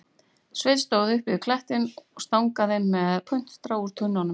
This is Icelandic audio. Sveinn stóð uppi við klettinn og stangaði með puntstrá úr tönnunum